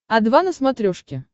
о два на смотрешке